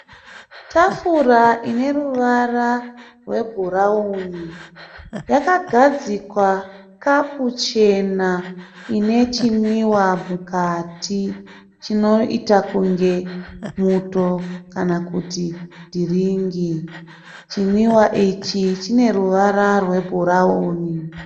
Tafura ine ruvara rwebhurauni. Yakagadzikwa kapu chena inechinwiwa mukati chinoita kunge muto kana kuti dhiringi. Chinwiwa ichi chine ruvara rwebhurauni.